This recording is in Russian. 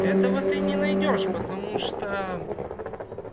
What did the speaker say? этого ты не найдёшь потому что